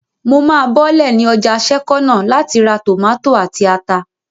Mo máa bọ́lẹ̀ ní ọjà sẹ́kọ́nà láti ra tòmátò àti ata